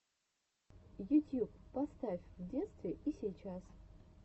ютьюб поставь в детстве и сейчас